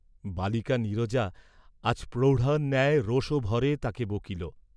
বালিকা নীরজা আজ প্রৌঢ়ার ন্যায় রোষভরে তাহাকে বকিল।